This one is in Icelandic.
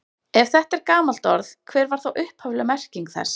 Ef þetta er gamalt orð, hver var þá upphafleg merking þess?